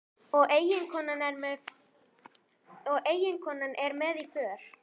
Og eiginkonan er með í för.